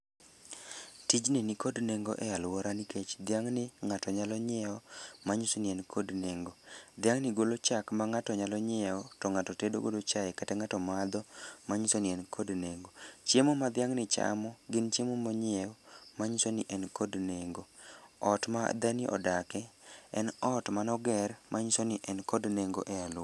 Tijni nikod nengo e alwora nikech dhiang'ni ngáto nyalo nyiewo manyiso ni en kod nengo. Dhiang'ni golo chak ma ngáto nyalo nyiewo, to ngáto tedo godo chae kata ngáto madho, manyiso ni en kod nengo. Chiemo ma dhiang' ni chamo gin chiemo ma onyiew, ma nyiso ni en kod nengo. Ot ma dher ni odake, en ot mane oger manyiso ni en kod nengo e alwora.